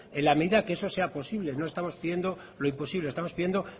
en la medida que eso sea posible no estamos pidiendo lo imposible estamos pidiendo